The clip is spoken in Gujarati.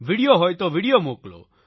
વિડિયો હોય તો વિડિયો મોકલો